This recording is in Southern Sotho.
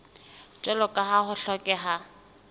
jwalo ka ha ho hlokeha